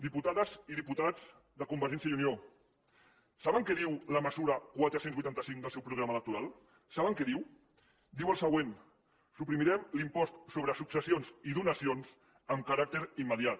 diputades i diputats de convergència i unió saben què diu la mesura quatre cents i vuitanta cinc del seu programa electoral saben què diu diu el següent suprimirem l’impost sobre successions i donacions amb caràcter immediat